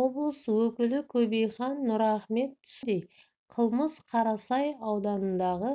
облыс өкілі кобейхан нұрахмет түсіндіргендей қылмыс қарасай ауданындағы